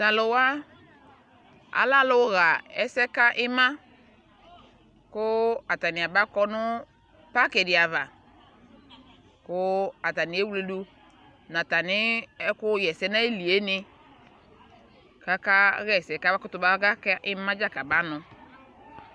talk wa alɛ alʋ yɛsɛ ka ima kʋ atani abakɔ nʋ parki di aɣa kʋ atani ɛwlɛdʋ nʋ atani ɛkʋ yɛsɛ nʋ ayiliɛ ni kʋ aka yɛsɛ kʋ aba kʋtʋ na ka ima dza kʋ abanʋ.